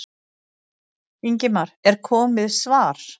Ingimar: Er komið svar?